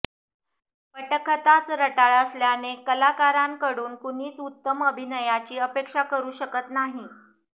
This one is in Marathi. पटकथाच रटाळ असल्याने कलाकारांकडून कुणीही उत्तम अभिनयाची अपेक्षा करू शकत नाही